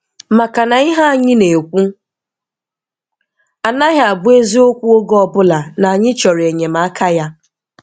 Makana ihe anyị na-ekwu anaghị abụ eziokwu oge ọbụla na anyị chọrọ enyemaka Ya.